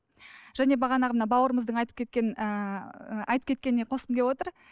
және бағанағы мына бауырымыздың айтып кеткен ыыы айтып кеткеніне қосқым келіп отыр